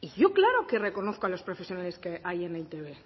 y yo claro que reconozco a los profesionales que hay en e i te be